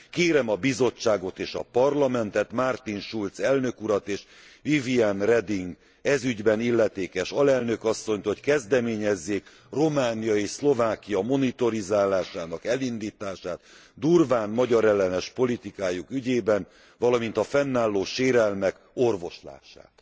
Kérem a Bizottságot és a Parlamentet, Martin Schulz elnök urat és Viviane Reding ez ügyben illetékes alelnök asszonyt, hogy kezdeményezzék Románia és Szlovákia monitorizálásának elindítását durván magyarellenes politikájuk ügyében, valamint a fennálló sérelmek orvoslását.